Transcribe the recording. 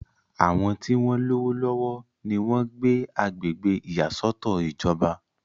àwọn tí wọ́n lówó lọ́wọ́ ni wọ́n ń gbé agbègbè ìyàsọ́tọ̀ ìjọba